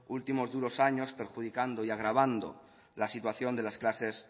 últimos duros años perjudicando y agravando la situación de las clases